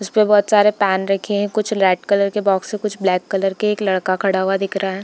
उस पे बहुत सारे पैन रखे हैं कुछ लाइट कलर के कुछ बॉक्स हैं कुछ ब्लैक के एक लड़का खड़ा हुआ दिख रहा है।